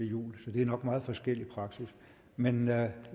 jul så der er nok meget forskellig praksis men jeg